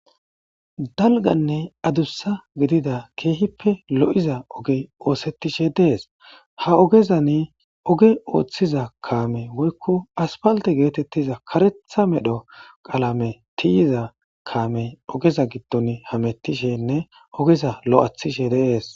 dalganne adussa gidida keehippe lo7iza oge oosettishe dees ha ogezani oge ooththiza kaame woykko aspalte geetettiza karetha medho qalame tiyiza kaame ogeza giddon hamettishenne ogeza lo7athishe deees